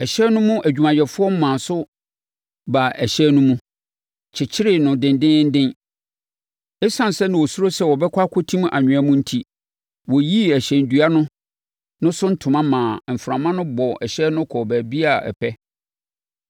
Ɛhyɛn no mu adwumayɛfoɔ maa so baa ɛhyɛn no mu, kyekyeree no dendeenden. Esiane sɛ na wɔsuro sɛ wɔbɛkɔ akɔtim anwea mu enti, wɔyiyii ɛhyɛn dua no so ntoma maa mframa no bɔɔ ɛhyɛn no kɔɔ baabiara a ɛpɛ.